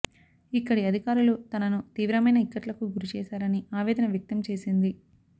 ఇక్కడి అధికారులు తనను తీవ్రమైన ఇక్కట్లకు గురి చేశారని ఆవేదన వ్యక్తం చేసింది